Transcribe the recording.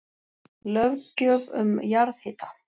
Löggjöf um jarðhita